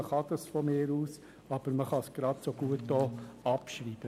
Man kann das meinetwegen tun, aber man kann es gerade so gut auch abschreiben.